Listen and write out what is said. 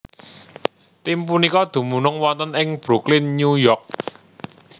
Tim punika dumunung wonten ing Brooklyn New York